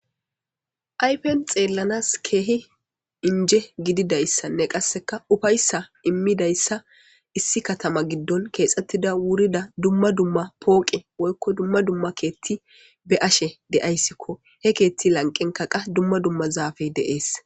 Ayffen xellanas keehi injje gididayssinn qassi uffayssa immidayssa issi kattama giddonwurrida poqqe woykko dumma dumma kethi be ashe dayssikko he keethi lanqqenkka qa dumma dumma zaffey de's